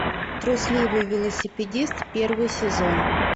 трусливый велосипедист первый сезон